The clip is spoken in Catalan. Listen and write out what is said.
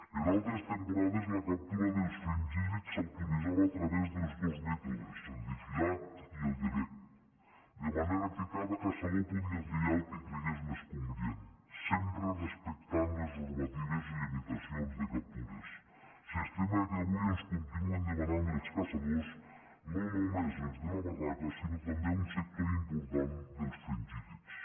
en altres temporades la captura dels fringíl·lids s’autoritzava a través dels dos mètodes el de filat i el de vesc de manera que cada caçador podia triar el que cregués més convenient sempre respectant les normatives de limitació de captures sistema que avui ens continuen demanant els caçadors no només els de la barraca sinó també un sector important dels fringíl·lids